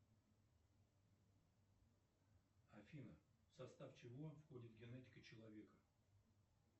афина в состав чего входит генетика человека